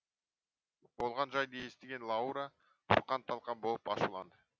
болған жайды естіген лаура бұрқан талқан боп ашуланды